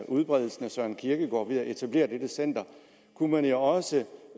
udbredelsen af søren kierkegaard ved at etablere dette center kunne man jo også